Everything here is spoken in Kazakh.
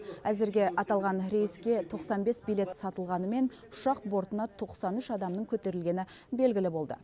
әзірге аталған рейске тоқсан бес билет сатылғанымен ұшақ бортына тоқсан үш адамның көтерілгені белгілі болды